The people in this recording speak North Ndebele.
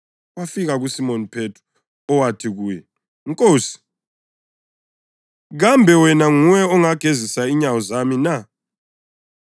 Wafika kuSimoni Phethro owathi kuye, “Nkosi, kambe wena nguwe ongagezisa inyawo zami na?”